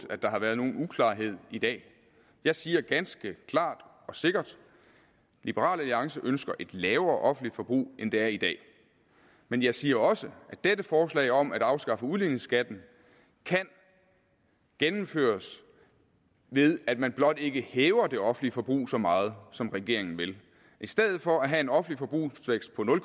at der har været nogen uklarhed i dag jeg siger ganske klart og sikkert liberal alliance ønsker et lavere offentligt forbrug end der er i dag men jeg siger også at dette forslag om at afskaffe udligningsskatten kan gennemføres ved at man blot ikke hæver det offentlige forbrug så meget som regeringen vil i stedet for at have en offentlig forbrugsvækst på nul